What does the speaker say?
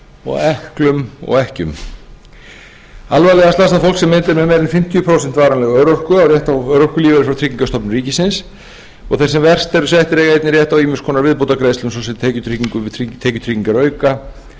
og ekklum og ekkjum alvarlega slasað fólk sem metið er með meira en fimmtíu prósent varanlega örorku á rétt örorkulífeyrir frá tryggingastofnun ríkisins og þeir sem verst eru settir eiga einnig rétt á ýmis konar viðbótargreiðslum ss tekjutryggingu tekjutryggingarauka heimilisuppbót